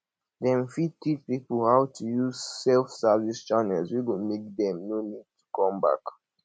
dem fit teach pipo how to use self service channels wey go make dem no need to come bank